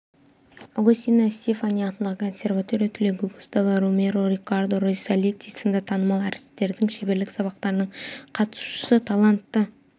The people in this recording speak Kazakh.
агостино стеффани атындағы консерватория түлегі густаво ромеро риккардо рисалити сынды танымал әртістердің шеберлік сабақтарының қатысушысы талантты